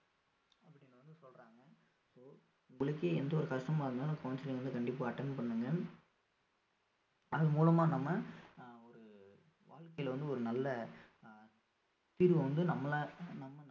அப்படின்னு வந்து சொல்றாங்க இப்போ உங்களுக்கே எந்த ஒரு கஷ்டமா இருந்தாலும் counselling வந்து கண்டிப்பா attend பண்ணுங்க ஆஹ் அதன் மூலமா நம்ம அஹ் ஒரு வாழ்க்கையில வந்து ஒரு நல்ல ஆஹ் தீர்வு வந்து நம்மளா நம்ம~